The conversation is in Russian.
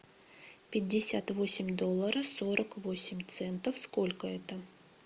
пятьдесят восемь долларов сорок восемь центов сколько это